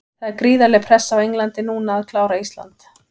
Það er gríðarleg pressa á Englandi núna að klára Ísland.